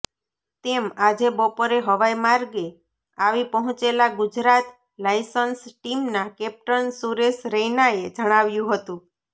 તેમ આજે બપોરે હવાઈ માર્ગે આવી પહોંચેલા ગુજરાત લાયન્સ ટીમના કેપ્ટન સુરેશ રૈનાએ જણાવ્યું હતુ